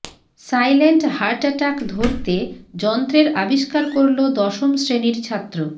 silent heart attack ধরতে যন্ত্রের আবিষ্কার করল দশম শ্রেণীর ছাত্র